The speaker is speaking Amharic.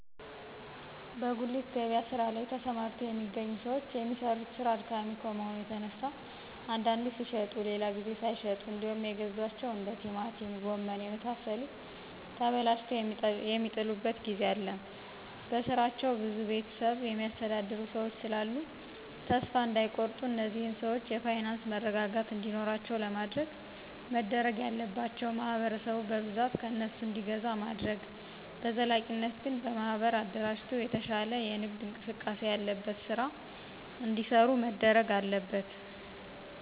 በጉሊት ገበያ ስራ ላይ ተሰማርተው የሚገኙ ሰዎች የሚሰሩት ስራ አድካሚ ከመሆኑ የተነሳ አንዴ ሲሽጡ ሌላ ጊዜ ሳይሸጡ እንዴውም የገዟቸው እንደ ቲማቲም ጎመን የመሳሰሉት ተበላሽተው የሚጥሉበት ጊዜ አለ በስራቸው ብዙ ቤተሰብ የሚያስተዳድሩ ሰዎች ስላሉ ተሰፋ እዳይቆርጡ እነዚህን ሰዎች የፋይናንስ መረጋጋት እንዲኖራቸው ለማድረግ መደረግ ያለባቸው ማህበረሰቡ በብዛት ከእነሱ እንዲገዛ ማድረግ በዘላቂነት ግን በማህበር አደራጅቶ የተሻለ የንግድ እንቅስቃሴ ያለበት ስራ እዲሰሩ መደረግ አለበት።